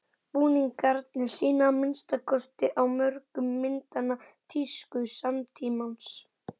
Búningarnir sýna, að minnsta kosti á mörgum myndanna, tísku samtímans.